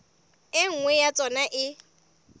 e nngwe ya tsona e